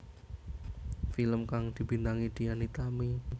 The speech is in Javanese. Film kang dibintangi Dian Nitami